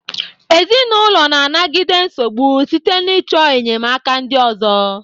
Ezinụlọ na-anagide nsogbu site n'ịchọ enyemaka ndị ọzọ.